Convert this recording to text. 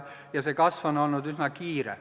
See kasv on olnud üsna kiire.